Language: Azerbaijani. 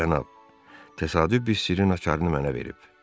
Cənab, təsadüf bir sirrin açarını mənə verib.